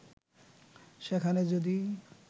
সেখানে যদি